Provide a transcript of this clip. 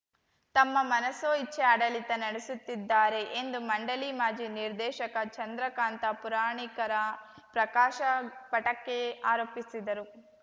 ತಮ್ಮ ಮನಸೋ ಇಚ್ಛೆ ಆಡಳಿತ ನಡೆಸುತ್ತಿದ್ದಾರೆ ಎಂದು ಮಂಡಳಿ ಮಾಜಿ ನಿರ್ದೇಶಕ ಚಂದ್ರಕಾಂತ ಪುರಾಣಿಕರ ಪ್ರಕಾಶ ಪಟಕೆ ಆರೋಪಿಸಿದರು